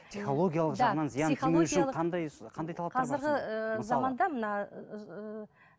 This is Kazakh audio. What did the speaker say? психологиялық жағынан зияны тимеуі үшін қазіргі заманда мына